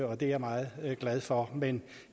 og det er jeg meget glad for men